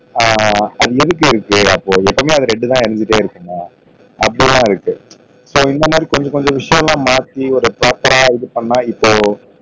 ஆஹ் அது எதுக்கு இருக்கு அப்போ எப்பையுமே அந்த ரெட்டு தான் எரிஞ்சிட்டே இருக்குதா அப்போ சோ இந்தமாதிரி கொஞ்ச கொஞ்ச விஷயம் எல்லாம் மாத்தி ஒரு பிராப்பரா இது பண்ணா இப்போ